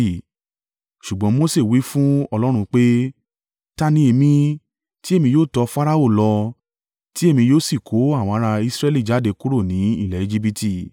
Ṣùgbọ́n Mose wí fún Ọlọ́run pé, “Ta ni èmi, tí èmi yóò tọ Farao lọ, ti èmi yóò sì kó àwọn ará Israẹli jáde kúrò ni ilẹ̀ Ejibiti?”